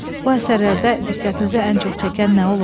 Bu əsərlərdə diqqətinizi ən çox çəkən nə olub?